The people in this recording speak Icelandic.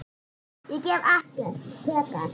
Ég gef ekkert, tek allt.